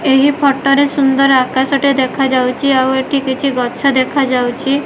ଏହି ଫଟୋ ରେ ସୁନ୍ଦର ଆକାଶ ଟେ ଦେଖାଯାଉଚି ଆଉ ଏଠି କିଛି ଗଛ ଦେଖାଯାଉଚି।